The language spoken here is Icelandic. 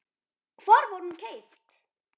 Hvar var hún keypt?